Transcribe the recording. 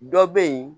Dɔ bɛ yen